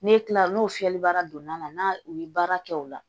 N'e kila la n'o fiyɛlibara donna na n'a u ye baara kɛ o la